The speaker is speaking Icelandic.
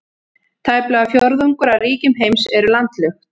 Tæplega fjórðungur af ríkjum heims eru landlukt.